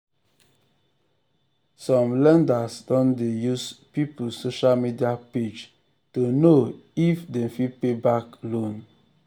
some lenders don dey use people social use people social media um page to know um if um dem fit pay back loan.